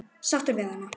Sáttur við hana?